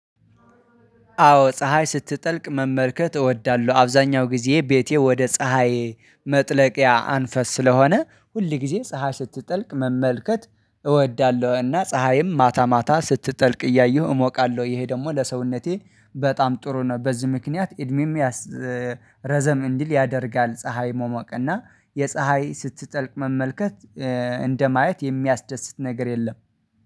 አዎ ፀሀይ ስትጠልቅ መመልከት እወዳለሁ። አብዛኛው ጊዜ ቤቴ ወደ ፀሀይ መጥለቂያ አንፈስ ስለሆነ ሁል ጊዜ ፀሀይ ስትጠልቅ መመልከት እወዳለሁ። እና ፀሀይም ማታ ማታ ስትጠልቅ እያየሁ እሞቃለሁ ይሄ ደግሞ ለሰውነቴ በጣም ጥሩ ነው። በዚህ ምክንያት እድሜ ረዘም እንዲል ያደርጋል። ፀሀይ መሞቅ እና የፀሀይ ስትጠልቅ መመልከት እንደማየት የሚያስደስት ነገር የለም